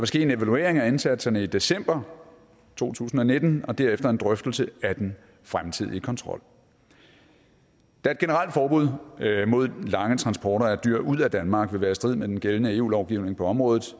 ske en evaluering af indsatserne i december to tusind og nitten og derefter en drøftelse af den fremtidige kontrol da et generelt forbud mod lange transporter af dyr ud af danmark vil være i strid med den gældende eu lovgivning på området